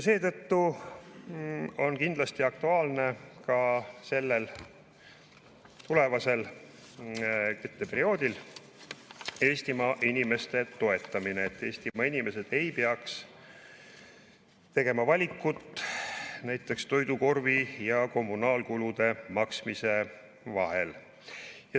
Seetõttu on kindlasti aktuaalne ka tulevasel kütteperioodil Eestimaa inimeste toetamine, et nad ei peaks tegema valikut näiteks toidukorvi ja kommunaalkulude maksmise vahel.